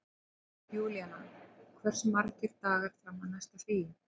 Júlíanna, hversu margir dagar fram að næsta fríi?